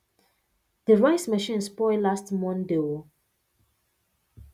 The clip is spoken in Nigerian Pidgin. the rice machine spoil last monday oh